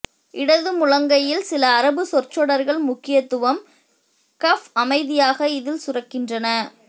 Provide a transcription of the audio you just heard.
இடது முழங்கையில் சில அரபு சொற்றொடர்கள் முக்கியத்துவம் கஃப் அமைதியாக இதில் சுரக்கின்றன